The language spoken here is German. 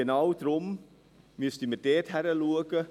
Genau deswegen müssen wir dort hinschauen.